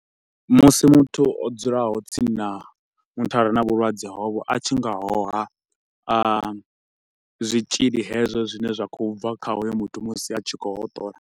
Musi muthu o dzulaho tsini na muthu a re na vhulwadze hovho a tshi nga hoha zwitshili hezwo zwine zwa khou bva kha hoyo muthu musi a tshi kho u hoṱola.